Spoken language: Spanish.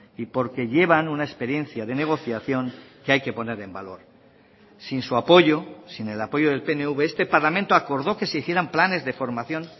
y porque llevan una experiencia de negociación que hay que poner en valor sin su apoyo sin el apoyo del pnv este parlamento acordó que se hicieran planes de formación